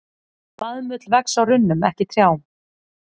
Baðmull vex á runnum, ekki trjám.